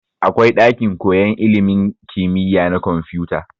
Akwai ɗakin koyan ilimin kimiya na kwamfuta.